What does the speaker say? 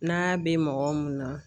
N'a bɛ mɔgɔ mun na